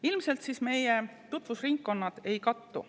Ilmselt siis meie tutvusringkonnad ei kattu.